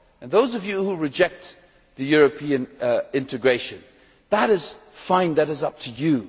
Those of you who reject European integration that is fine, that is up to you